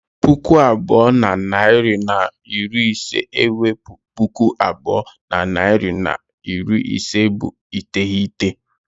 Puku abụọ na narị na iri ise I wepu puku abụọ na narị na iri ise bụ iteghete